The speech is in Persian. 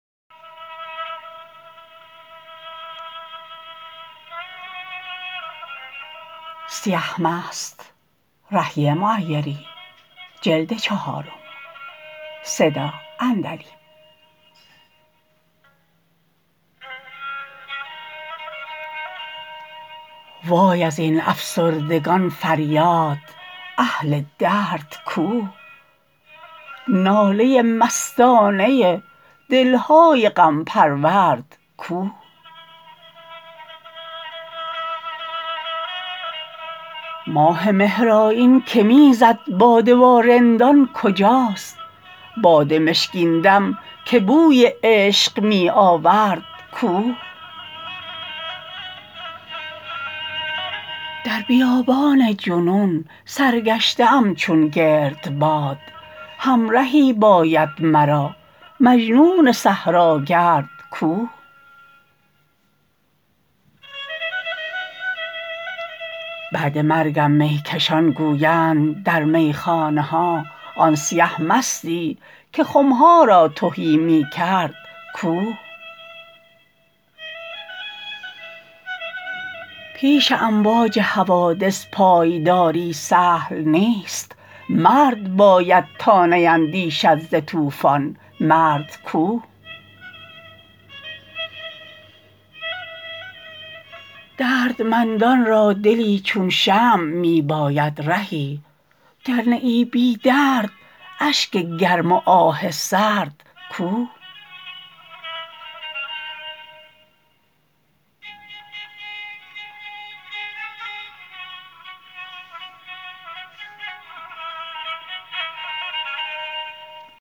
وای از این افسردگان فریاد اهل درد کو ناله مستانه دل های غم پرورد کو ماه مهرآیین که می زد باده با رندان کجاست باد مشکین دم که بوی عشق می آورد کو در بیابان جنون سرگشته ام چون گردباد همرهی باید مرا مجنون صحراگرد کو بعد مرگم می کشان گویند در میخانه ها آن سیه مستی که خم ها را تهی می کرد کو پیش امواج حوادث پایداری سهل نیست مرد باید تا نیندیشد ز طوفان مرد کو دردمندان را دلی چون شمع می باید رهی گر نه ای بی درد اشک گرم و آه سرد کو